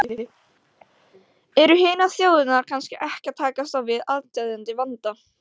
Eru hinar þjóðirnar kannski ekki að takast á við aðsteðjandi vanda?